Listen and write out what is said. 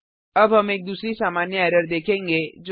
अब हम एक दूसरी सामान्य एरर देखेंगे